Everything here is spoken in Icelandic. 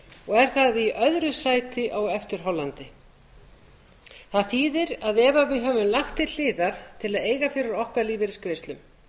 og er þar í öðru sæti á eftir hollandi það þýðir að ef við höfum lagt til hliðar til að eiga fyrir okkar lífeyrisgreiðslum